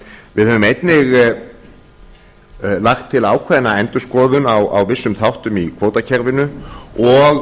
við höfum einnig lagt til ákveðna endurskoðun á vissum þáttum í kvótakerfinu og